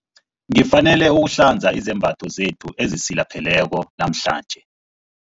Ngifanele ukuhlanza izembatho zethu ezisilapheleko namhlanje.